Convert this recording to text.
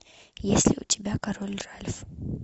есть ли у тебя король ральф